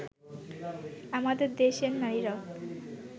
আমাদের দেশের নারীরাও